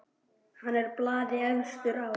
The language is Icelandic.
Hann er blaði efstur á.